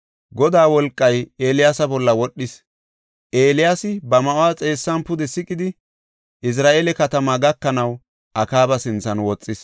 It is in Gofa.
Godaa wolqay Eeliyaasa bolla wodhis. Eeliyaasi ba ma7uwa xeessan pude siqidi, Izra7eela katamaa gakanaw Akaaba sinthan woxis.